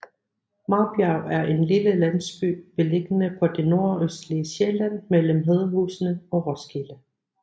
Marbjerg er en lille landsby beliggende på det nordøstlige Sjælland mellem Hedehusene og Roskilde